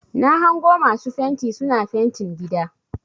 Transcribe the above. Na hango masu fenti suna fentin gida.